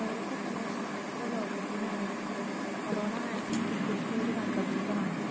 നേരത്തെതന്നെ ശാസ്ത്രലോകത്തിന് അറിവുള്ള corona virus ൻ്റെ പുതിയൊരു വകബേധമാണ്